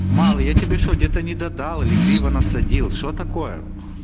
малый я тебе что где-то недодал или криво насадил что такое